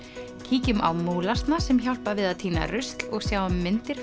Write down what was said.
kíkjum á sem hjálpa við að tína rusl og sjáum